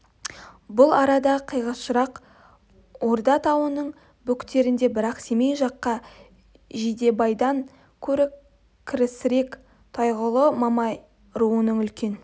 бұл арадан қиғашырақ орда тауының бөктерінде бірақ семей жаққа жидебайдан көрі кірісірек тойғұлы мамай руының үлкен